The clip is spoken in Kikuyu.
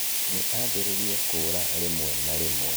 Nĩ aambĩrĩirie kũura rĩmwe na rĩmwe